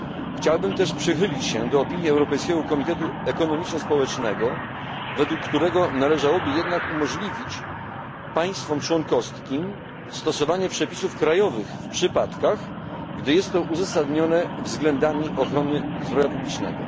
Chciałbym też przychylić się do opinii Europejskiego Komitetu Ekonomiczno Społecznego, według którego należałoby jednak umożliwić państwom członkowskim stosowanie przepisów krajowych w przypadkach, gdy jest to uzasadnione względami ochrony zdrowia publicznego.